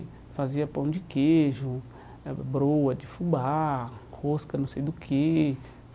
E fazia pão de queijo, eh broa de fubá, rosca não sei do que.